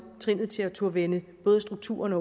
trinnet til at turde vende både strukturerne